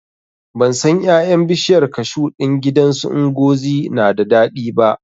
Ban san ƴaƴan bishiyar kashu ɗin gidan su Ngozi na da daɗi ba